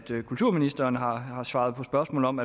kulturministeren har svaret på spørgsmål om